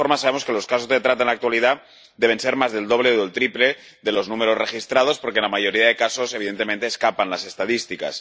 De todas formas, sabemos que los casos de trata en la actualidad deben ser más del doble o el triple de los números registrados, porque la mayoría de casos, evidentemente, escapan a las estadísticas.